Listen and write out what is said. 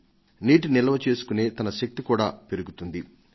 పొలానికి నీటిని నిల్వ చేసుకొనే శక్తి కూడా పెరుగుతుంది